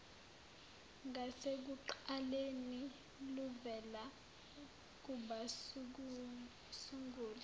ngasekuqaleni luvela kubasunguli